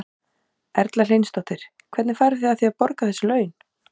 Erla Hlynsdóttir: Hvernig farið þið að því að, að borga þessi laun?